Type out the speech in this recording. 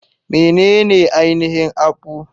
Menene ainihin akpu?